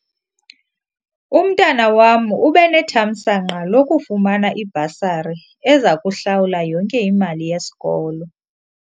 Umntwana wam ube nethamsanqa lokufumana ibhasari eza kuhlawula yonke imali yesikolo.